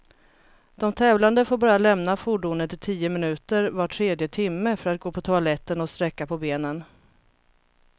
De tävlande får bara lämna fordonet i tio minuter var tredje timme, för att gå på toaletten och sträcka på benen.